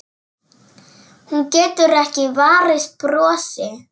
Hún getur ekki varist brosi.